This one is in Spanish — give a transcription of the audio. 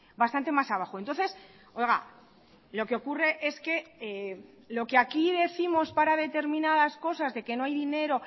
bastante más abajo entonces lo que ocurre es que lo que aquí décimos para determinadas cosas de que no hay dinero